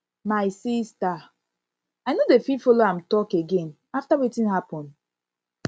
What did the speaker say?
my sister i no dey fit follow am talk again after wetin happen